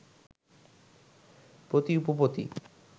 পতি উপপতি